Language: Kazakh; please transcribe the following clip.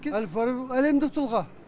әль фараби бұл әлемдік тұлға